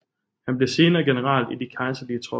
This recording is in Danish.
Han blev senere general i de kejserlige tropper